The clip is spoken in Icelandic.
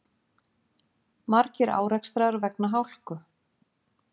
Margir árekstrar vegna hálku